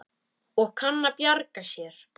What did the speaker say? Og kann að bjarga sér.